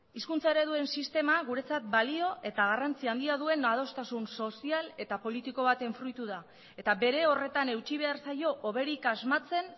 hizkuntza ereduen sistema guretzat balio eta garrantzi handia duen adostasun sozial eta politiko baten fruitu da eta bere horretan eutsi behar zaio hoberik asmatzen